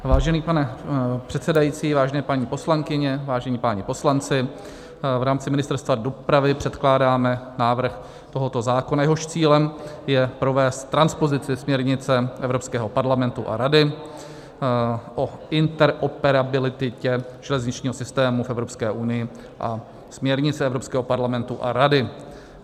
Vážený pane předsedající, vážené paní poslankyně, vážení páni poslanci, v rámci Ministerstva dopravy předkládáme návrh tohoto zákona, jehož cílem je provést transpozici směrnice Evropského parlamentu a Rady o interoperabilitě železničního systému v Evropské unii a směrnice Evropského parlamentu a Rady.